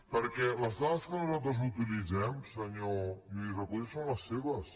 perquè les dades que nosaltres utilitzem senyor lluís recoder són les seves